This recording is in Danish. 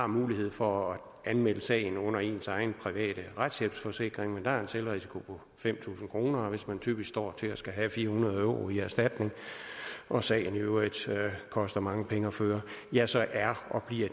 mulighed for at anmelde sagen under ens egen private retshjælpsforsikring men der er der en selvrisiko på fem tusind og hvis man typisk står til at skulle have fire hundrede euro i erstatning og sagen i øvrigt koster mange penge at føre ja så er og bliver